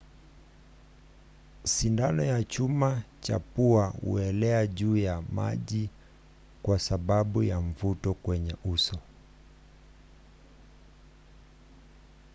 sindano ya chuma cha pua huelea juu ya maji kwa sababu ya mvuto kwenye uso